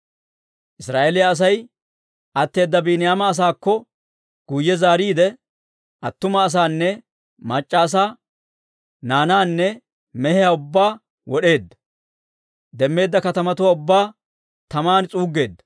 Israa'eeliyaa Asay atteedda Biiniyaama asaakko guyye zaariide, attuma asaanne mac'c'a asaa, naanaanne mehiyaa ubbaa wod'eeddino; demmeedda katamatuwaa ubbaa tamaan s'uuggeeddino.